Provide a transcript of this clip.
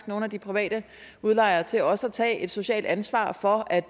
nogle af de private udlejere til også at tage et socialt ansvar for at